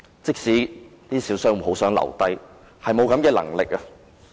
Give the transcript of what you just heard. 即使一些小商戶很想留下來，卻無能為力。